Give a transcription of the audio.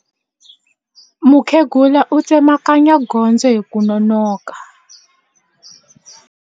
Mukhegula u tsemakanya gondzo hi ku nonoka.